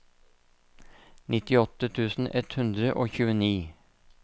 nittiåtte tusen ett hundre og tjueni